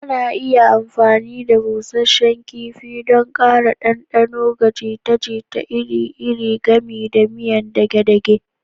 Ana iya amfani da busasshen kifi don ƙara ɗanɗano ga jita-jita iri-iri, gami da miyan dage-dage